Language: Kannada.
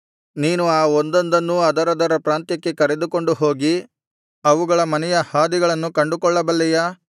ನೀನು ಆ ಒಂದೊಂದನ್ನೂ ಅದರದರ ಪ್ರಾಂತ್ಯಕ್ಕೆ ಕರೆದುಕೊಂಡು ಹೋಗಿ ಅವುಗಳ ಮನೆಯ ಹಾದಿಗಳನ್ನು ಕಂಡುಕೊಳ್ಳಬಲ್ಲೆಯಾ